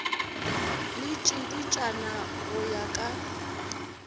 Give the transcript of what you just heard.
le tšiditšana go ya ka